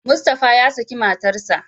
Mustapha ya saki matarsa.